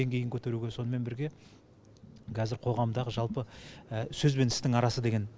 деңгейін көтеруге сонымен бірге кәзір қоғамдағы жалпы сөз бен істің арасы деген